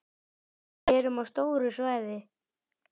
Við erum á stóru svæði.